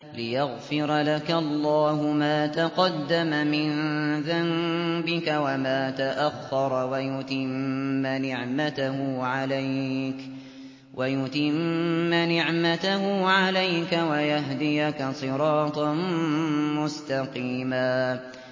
لِّيَغْفِرَ لَكَ اللَّهُ مَا تَقَدَّمَ مِن ذَنبِكَ وَمَا تَأَخَّرَ وَيُتِمَّ نِعْمَتَهُ عَلَيْكَ وَيَهْدِيَكَ صِرَاطًا مُّسْتَقِيمًا